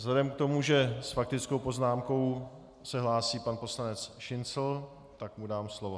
Vzhledem k tomu, že s faktickou poznámkou se hlásí pan poslanec Šincl, tak mu dám slovo.